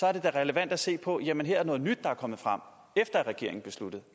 er det da relevant at se på sige jamen her er noget nyt der er kommet frem efter at regeringen besluttede